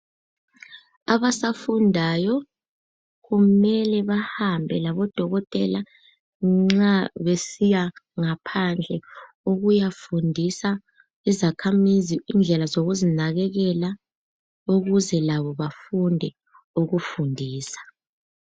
Abasafundayo kumele bahambe lodokotela ngaphandle nxa besiyafundisa izakhamizi indlela zokuzinakekela ukuze labo bafunde ukuzifundisa .